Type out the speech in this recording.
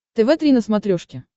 тв три на смотрешке